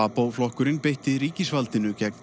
SWAPO flokkurinn beitti ríkisvaldinu gegn